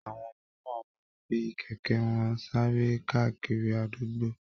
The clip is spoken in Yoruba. Àwọn ọmọ náà máa fi kẹ̀kẹ́ wọn sáré káàkiri àdúgbò